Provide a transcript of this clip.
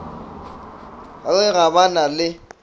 re ga ba na le